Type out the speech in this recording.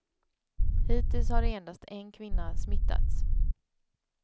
Hittills har endast en kvinna smittats.